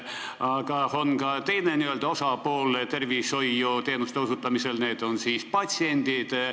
Aga tervishoiuteenuste osutamisel on ka teine osapool, need on patsiendid.